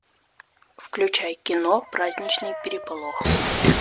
включай кино праздничный переполох